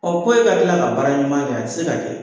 ko e ka tila ka baara ɲuman kɛ, a ti se ka kɛ.